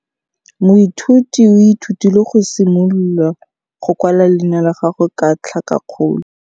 Moithuti o ithutile go simolola go kwala leina la gagwe ka tlhakakgolo.